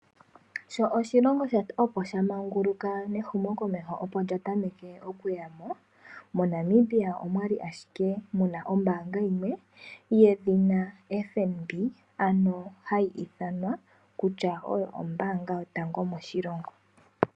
Sho oshilongo opo sha manguluka mehumokomeho opo lya tameke oku yama, moNamibia omwali ashike muna ombaanga yimwe yedhina FNB, ano hayi ithanwa kutya oyo ombaanga yotango yopashigwana.